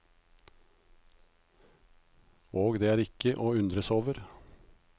Og det er ikke å undres over.